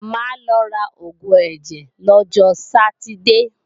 Máa lọ ra oògùn ẹ̀jẹ̀ lọ́jọ Sátidée